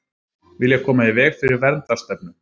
Vilja koma í veg fyrir verndarstefnu